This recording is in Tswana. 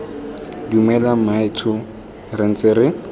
dumela mmaetsho re ntse re